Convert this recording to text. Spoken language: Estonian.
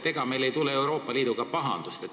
Ega meil ei tule Euroopa Liiduga pahandusi?